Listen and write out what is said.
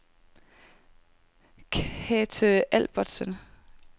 Kathe Albertsen